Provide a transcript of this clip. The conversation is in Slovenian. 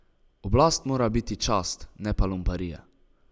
Oblast mora biti čast, ne pa lumparija.